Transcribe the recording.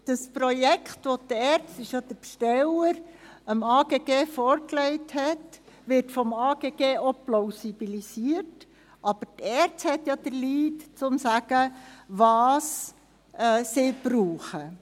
Das Projekt, das der Besteller dem AGG vorlegte, wird vom AGG auch plausibilisiert, aber die ERZ hat den Lead und kann sagen, was sie braucht.